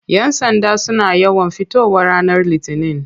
Yan sanda suna yawan fitowa ranar litinin.